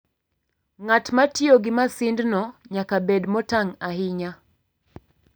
Ng'at ma tiyo gi masindno nyaka bed motang' ahinya.